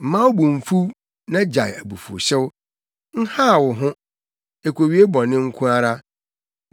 Mma wo bo mmfuw na gyae abufuwhyew; nhaw wo ho, ekowie bɔne nko ara.